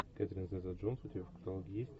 кэтрин зета джонс у тебя в каталоге есть